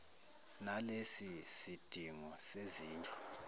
nalesi sidingo sezindlu